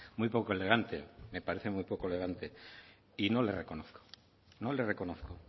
muy poco elegante me parece muy poco elegante y no le reconozco no le reconozco